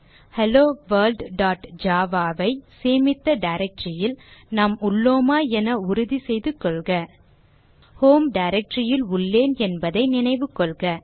HelloWorldjava ஐ சேமித்த directory யில் நாம் உள்ளோமா என உறுதி செய்து கொள்க ஹோம் directory யில் உள்ளேன் என்பதை நினைவு கொள்க